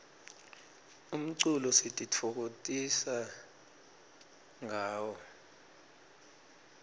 umculo sititfokokotisa ngawo